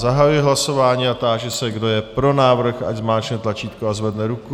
Zahajuji hlasování a táži se, kdo je pro návrh, ať zmáčkne tlačítko a zvedne ruku.